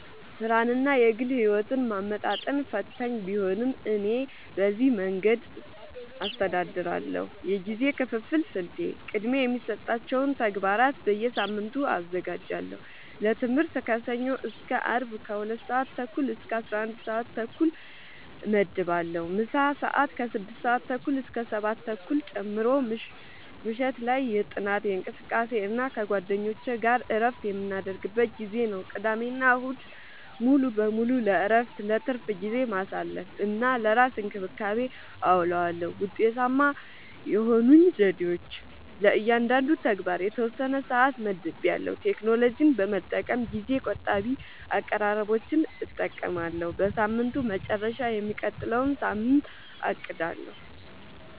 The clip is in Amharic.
ሥራንና የግል ሕይወትን ማመጣጠን ፈታኝ ቢሆንም፣ እኔ በዚህ መንገድ አስተዳድራለሁ፦ የጊዜ ክፍፍል ስልቴ፦ · ቅድሚያ የሚሰጣቸውን ተግባራት በየሳምንቱ አዘጋጃለሁ · ለትምህርት ከሰኞ እስከ አርብ ከ 2:30-11:30 እመድባለሁ (ምሳ ሰአት 6:30-7:30 ጨምሮ) · ምሽት ላይ የጥናት፣ የእንቅልፍ እና ከጓደኞች ጋር እረፍት የምናደርግበት ጊዜ ነው። · ቅዳሜና እሁድ ሙሉ በሙሉ ለእረፍት፣ ለትርፍ ጊዜ ማሳለፊ፣ እና ለራስ እንክብካቤ አዉለዋለሁ። ውጤታማ የሆኑኝ ዘዴዎች፦ · ለእያንዳንዱ ተግባር የተወሰነ ሰዓት መድቤያለሁ · ቴክኖሎጂን በመጠቀም ጊዜ ቆጣቢ አቀራረቦችን እጠቀማለሁ · በሳምንቱ መጨረሻ የሚቀጥለውን ሳምንት አቅዳለሁ